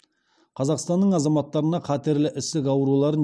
қазақстанның азаматтарына қатерлі ісік ауруларын